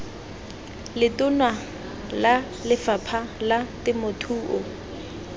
letona la lefapha la temothuo